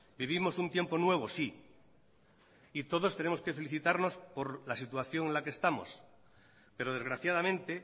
vivimos un tiempo nuevo sí y todos tenemos que felicitarnos por la situación en la que estamos pero desgraciadamente